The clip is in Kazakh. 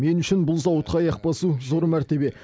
мен үшін бұл зауытқа аяқ басу зор мәртебе